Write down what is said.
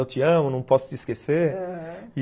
Eu te amo, não posso te esquecer, aham.